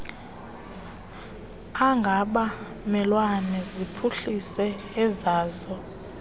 angabamelwane ziphuhlise ezazo